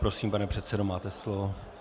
Prosím, pane předsedo, máte slovo.